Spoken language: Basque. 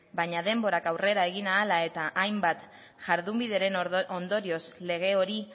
baina denborak aurrera egin ahala eta hainbat jardunbideren ondorioz lege hori